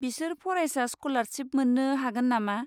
बिसोर फरायसा स्क'लारशिप मोन्नो हागोन नामा?